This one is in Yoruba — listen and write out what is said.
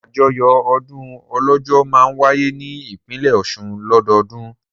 Àjọyọ̀ ọdún Ọlọ́jọ́ máa wáyé ní ìpínlẹ̀ Ọ̀ṣun lọ́dọọdún.